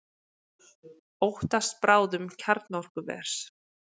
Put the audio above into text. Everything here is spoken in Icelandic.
Óttast bráðnun kjarnorkuvers